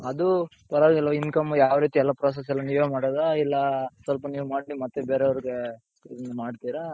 ಅದು ಪರ್ವಾಗಿಲ್ವ income ಯಾವ್ ರೀತಿ ಎಲ್ಲಾ process ಎಲ್ಲಾ ನೀವೇ ಮಾಡೋದಾ ಇಲ್ಲ ಸ್ವಲ್ಪ ನೀವ್ ಮಾಡಿ ಮತ್ತೆ ಬೇರೆಯವರ್ಗೆ ಹಿಂಗ್ ಮಾಡ್ತಿರ ?